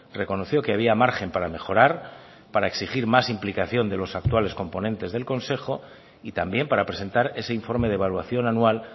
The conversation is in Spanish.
reconoció que había margen para mejorar para exigir más implicación de los actuales componentes del consejo y también para presentar ese informe de evaluación anual